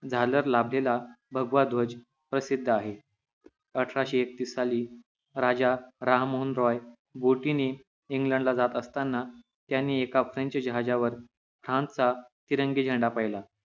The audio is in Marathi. झालर लाभलेला भगवा ध्वज प्रसिद्ध आहे अठराशे एकतीस साली राजा राममोहन रॉय बोटीने इंग्लडला जात असतांना त्यांनी एका फेंच जहाजावर फ्रांस चा तिरंगी झेंडा पाहिला